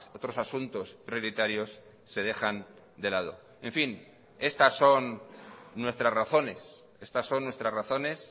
otros asuntos prioritarios se dejan de lado en fin estas son nuestras razones estas son nuestras razones